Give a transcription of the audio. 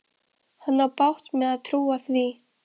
Hann á bágt með að trúa því.